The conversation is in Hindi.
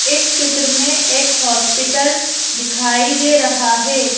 इस चित्र में एक हॉस्पिटल दिखाई दे रहा है।